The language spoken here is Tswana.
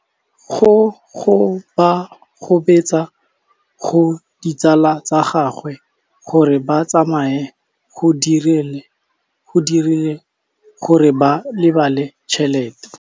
Go gobagobetsa ga ditsala tsa gagwe, gore ba tsamaye go dirile gore a lebale tšhelete.